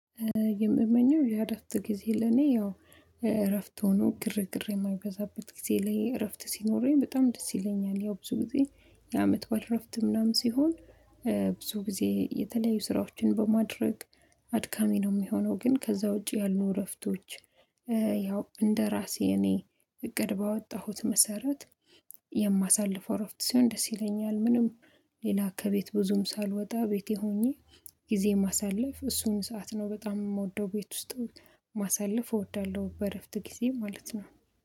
የምመኘው ያ እረፍት ጊዜ ለኔ ያው እረፍት ሆኖ ግርግር የማይበዛበት ጊዜ ለይ እረፍት ሲኖረኝ በጣም ደስ ይለኛል ያው ብዙ ጊዜ የአመትባል እረፍት ምናምን ሲሆን። ብዙ ጊዜ የተለያዩ ስራዎችን በማድረግ አድካሚ ነው የሚሆነው ግን ከዛ ውጪ ያሉ እረፍቶች ያው እንደራሴ እኔ እቅድ ባወጣሁት መሰረት የማሳልፈው አረፍት ሲሆን ደስ ይለኛል። ምንም ሌላ ከቤት ብዙም ሳልወጣ ቤቴ ሆኜ ጊዜ ማሳለፍ እሱን ሰዓት ነው በጣም የምወደው። ቤት ውስጥ ማሳለፍ እወዳለሁ በእረፍት ጊዜ ማለት ነው